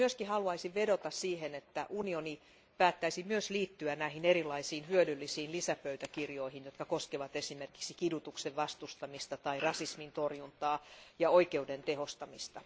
Haluaisin myös vedota, että unioni päättäisi liittyä myös näihin erilaisiin hyödyllisiin lisäpöytäkirjoihin, jotka koskevat esimerkiksi kidutuksen vastustamista tai rasismin torjuntaa ja oikeuden tehostamista.